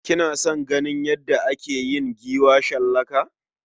Kina son ganin yadda ake yin giwa shallaka?